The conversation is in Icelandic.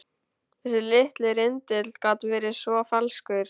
Þessi litli rindill gat verið svo falskur.